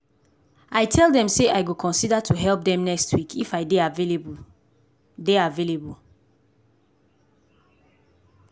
i tell dem say i go consider to help dem next week if i dey avaialble dey avaialble.